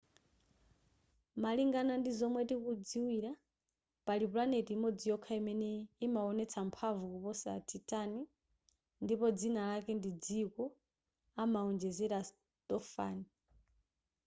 malingana ndi momwe tikudziwira pali planet imodzi yokha imene inawonetsa mphamvu kuposa titan ndipo dzina lake ndi dziko anawonjezera stofan